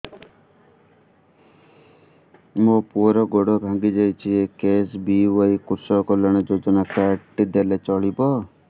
ମୋ ପୁଅର ଗୋଡ଼ ଭାଙ୍ଗି ଯାଇଛି ଏ କେ.ଏସ୍.ବି.ୱାଇ କୃଷକ କଲ୍ୟାଣ ଯୋଜନା କାର୍ଡ ଟି ଦେଲେ ଚଳିବ